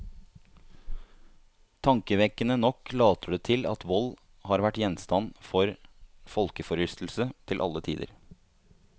Tankevekkende nok later det til at vold har vært gjenstand for folkeforlystelse til alle tider.